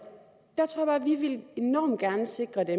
vi enormt gerne vil sikre dem